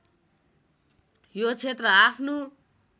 यो क्षेत्र आफ्नो